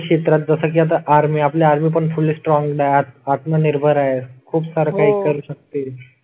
क्षेत्रात जसं की आता आर्मी आपल्या आर्मी पण फूल स्ट्रॉंग आत्मनिर्भर आहे. खूप सार काही करू शकते.